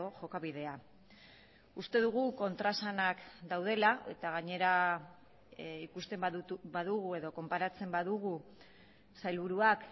jokabidea uste dugu kontraesanak daudela eta gainera ikusten badugu edo konparatzen badugu sailburuak